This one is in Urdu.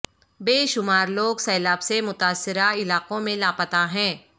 بے شمار لوگ سیلاب سے متاثرہ علاقوں میں لاپتہ ہیں